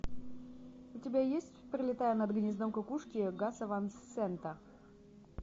у тебя есть пролетая над гнездом кукушки гаса ван сента